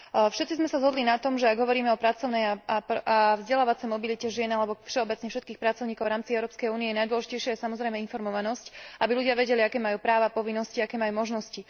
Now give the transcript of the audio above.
Všetci sme sa zhodli na tom, že ak hovoríme o pracovnej a vzdelávacej mobilite žien alebo všeobecne všetkých pracovníkov v rámci Európskej únie, najdôležitejšia je, samozrejme, informovanosť, aby ľudia vedeli, aké majú práva, povinnosti, aké majú možnosti.